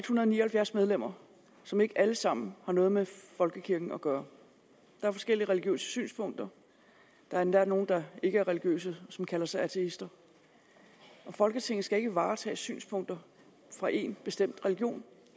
hundrede og ni og halvfjerds medlemmer som ikke alle sammen har noget med folkekirken at gøre der er forskellige religiøse synspunkter der er endda nogle der ikke er religiøse som kalder sig ateister folketinget skal ikke varetage synspunkter fra en bestemt religion